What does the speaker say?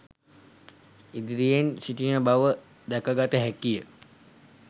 ඉදිරියෙන් සිටින බව දැකගත හැකිය